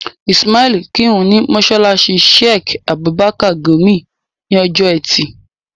Ismail kírun ní mọ́sálásí Sheik Abubakar Gumi ní ọjọ́ ẹtì